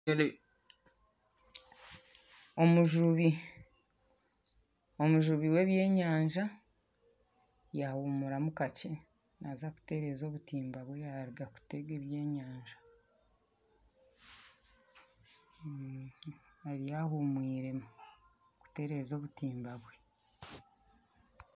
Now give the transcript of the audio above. Omujumbi, omujubi w'ebyenyanja, yaahumuramu kakye naaza kutereeza obutimba obu yaaruga kutegamu ebyenyanja, ariyo ahumwiremu kuteereza obutimba bwe